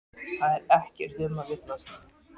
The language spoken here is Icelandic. Það er ekkert um að villast.